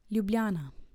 Ljubljana.